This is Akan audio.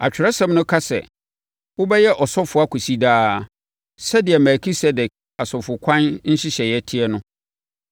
Atwerɛsɛm no ka sɛ, “Wobɛyɛ ɔsɔfoɔ akɔsi daa sɛdeɛ Melkisedek asɔfokwan nhyehyɛeɛ te no.”